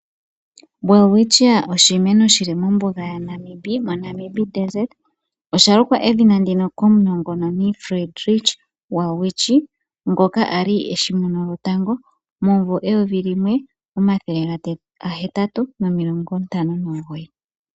Welwitchia oshi meno shili mombuga ya Namibia, osha lukwa edhina ndika komunongononi Friedrich Welwitsch ngoka ali oye eshi mono tango momumvo eyovi limwe omathele ga hetatu nomilongo ntano nomugoyi.